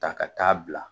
Ta ka taa bila